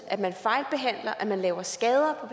at man fejlbehandler at man laver skader